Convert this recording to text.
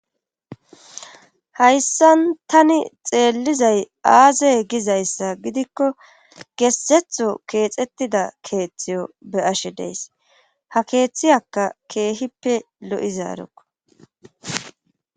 hayssan tani xeellizay aazey gizayssa gidikko gessetho keexettida keeththiyo be ashe dees ha keeththiyakka keehippe lo7izaarokko